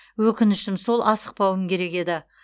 өкінішім сол асықпауым керек еді